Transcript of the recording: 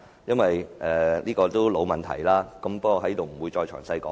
這是個老問題，我不會在此贅述。